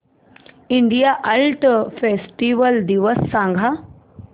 India art festival दिवस सांग